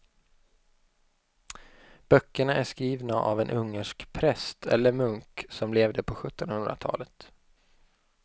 Böckerna är skrivna av en ungersk präst eller munk som levde på sjuttonhundratalet.